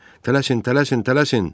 Tələsin, tələsin, tələsin!